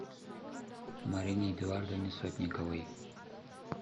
марине эдуардовне сотниковой